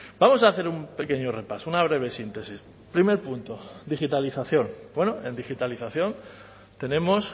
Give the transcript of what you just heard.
vamos a hacer un pequeño repaso una breve síntesis primer punto digitalización en digitalización tenemos